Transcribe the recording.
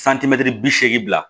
santimɛtiri bi seegin bila